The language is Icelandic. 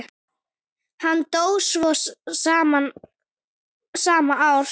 Hann dó svo sama ár.